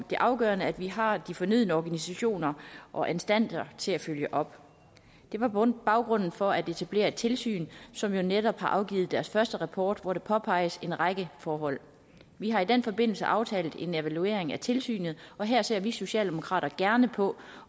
det er afgørende at vi har de fornødne organisationer og instanser til at følge op det var baggrunden for at etablere tilsynet for som jo netop har afgivet deres første rapport hvor der påpeges en række forhold vi har i den forbindelse aftalt en evaluering af tilsynet og her ser vi socialdemokrater gerne på